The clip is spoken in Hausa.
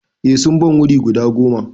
Eh sun ban wuri guda goma.